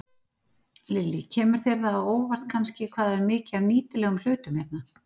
Lillý: Kemur það þér á óvart kannski hvað er mikið af nýtilegum hlutum hérna?